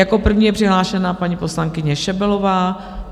Jako první je přihlášena paní poslankyně Šebelová.